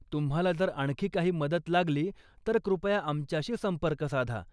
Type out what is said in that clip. तुम्हाला जर आणखी काही मदत लागली तर कृपया आमच्याशी संपर्क साधा.